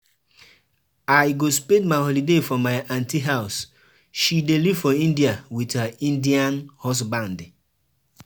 Ada wen una holiday dey start? I wan take you and your mama out.